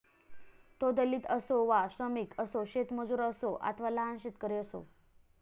तो दलित असो श्रमिक असो शेतमजूर असो अथवा लहान शेतकरी असो